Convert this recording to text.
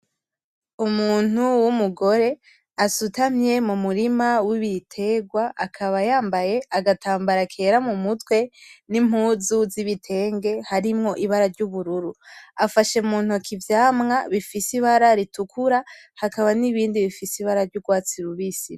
Umuntu w'umugore asutamye mumurima wibitegwa akaba yambaye agatambara kera mumutwe nimpuzu zibitenge harimwo ibara ryubururu. Afashe muntoki ivyamwa bifise ibara ritukura hakaba n'ibindi bifise ibara ryugwatsi rubisi.